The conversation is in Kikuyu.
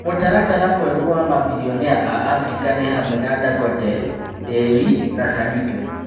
Mũtaratara mwerũ wa mabirionea a Afirika nĩ hamwe na Ndangote, Dewi na Sanito